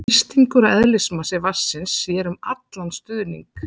þrýstingur og eðlismassi vatnsins sér um allan stuðning